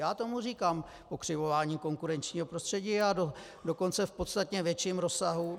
Já tomu říkám pokřivování konkurenčního prostředí, a dokonce v podstatně větším rozsahu.